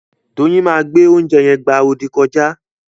Doyin ma gbe oúnjẹ yen gbá odì kọjá.